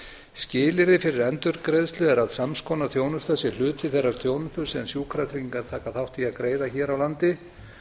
skilyrði fyrir endurgreiðslu er að sams konar þjónusta sé hluti þeirrar þjónustu sem sjúkratryggingar taka þátt í að greiða hér á landi